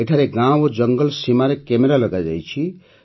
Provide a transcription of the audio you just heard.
ଏଠାରେ ଗାଁ ଓ ଜଙ୍ଗଲ ସୀମାରେ କ୍ୟାମେରା ଲଗାଯାଇଛି